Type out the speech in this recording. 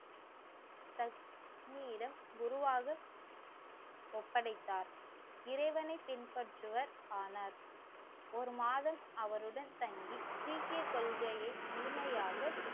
குருவாக ஒப்படைத்தார். இறைவனை பின்பற்றுவர் ஆனார். ஒரு மாதம் அவருடன் தங்கி சீக்கிய கொள்கையை முழுமையாக